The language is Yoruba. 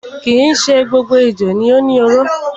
Kii ṣe gbogbo ejò ni ó ni oró.